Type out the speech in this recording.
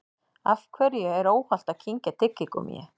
Af hverju er óhollt að kyngja tyggigúmmíi?